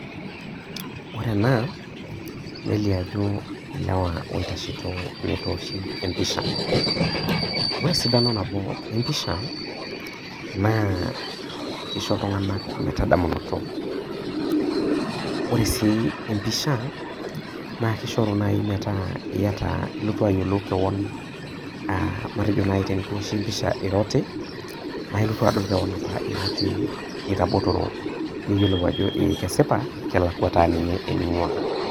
Ore enaa nelio ajo ilewa oitashito metooshi pisha, ore esidano nabo episha naa kisho ltunganak metadaminoto ,ore si empisha na kishoru nai metaa ilotu ayiolou kewon matejo nai tenikiwoshu pisha ira oti nailotu adol kewon iraoti itabotoro niyiolou ajo e kesipa kelakwa taa nye eningua.